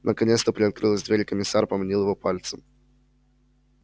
наконец то приоткрылась дверь и комиссар поманил его пальцем